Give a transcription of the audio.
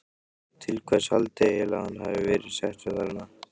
Til hvers haldiði eiginlega að hann hafi verið settur þarna?